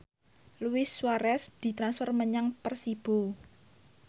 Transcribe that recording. Luis Suarez ditransfer menyang Persibo